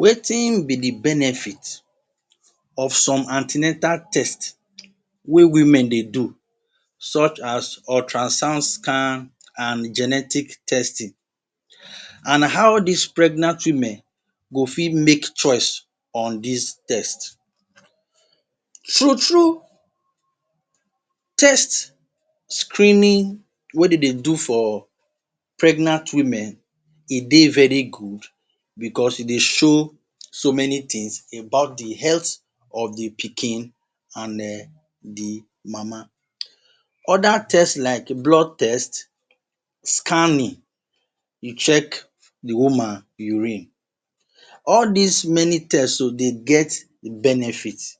Wetin be di benefit of some an ten atal test wey women dey do such as ultrasound scan, and genetic test and how dis pregnant women go fit make choice on dis tests. True true test screening wey dem dey do for pregnant women e dey very good bicos e dey show so many tins of di health of di pikin and di mama. Oda test like blood test, scanning, to check di woman urine. All dis many test get we dey get benefits,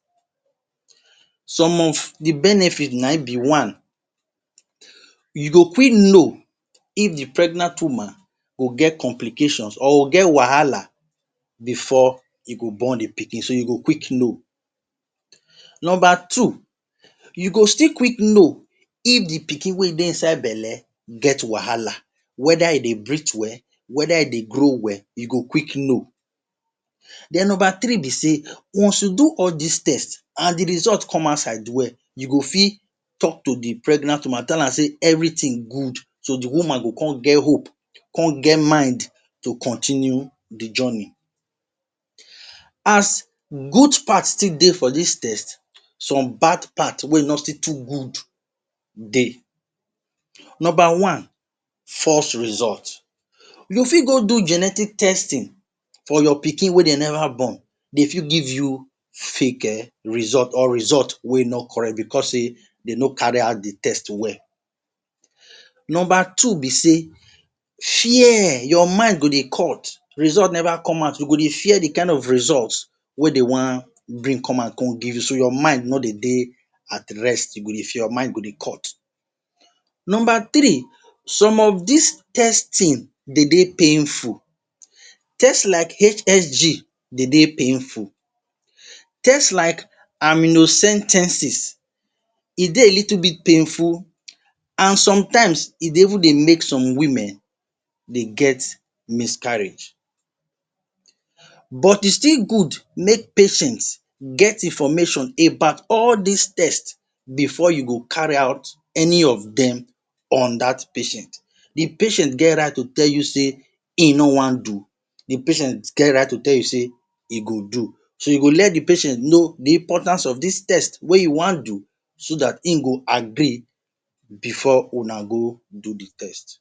some of di benefits na im be one, You go quick know if di pregnant woman get complications or get wahala bifor e go born do pikin so you go quick know. Number two, you go still quick know if di pikin wey dey inside belle get wahala weda e dey breath well, weda e dey grow well e go quick know. Den Number three be say, once you do all dis tests and di result come outside well you go fit tok to di pregnant woman tell am say evritin good so di woman go come get hope get mind to continue di journey. As good part take dey for dis test, some bad part wey wey no still dey good dey. Number one, false results, you fit go do genetic testing for your pikin wey dem never born dem fit give you fake result or result wey no correct bicos say dem no carry out di test well. Number two be say fear, your mine go dey cut results dey neva come out. You go dey fear di kain of result wey dem one bring come out come give you so. Your mind no go dey at rest, your mind go dey cut. Number three, some of dis testing dey dey painful. Test like HHG dey dey painful, test Aminocentesis e dey little bit painful and sometimes e dey even dey make some women dey get miscarriage, but e still good make patient get information about all dis tests bifor you go carry out any of dem on dat patient. Di patient get right to tell you say im no wan do, di patient get right to tell you say im go do. So you go let di patient know di importance of dis test wey you wan do so dat im go agree bifor una go do di test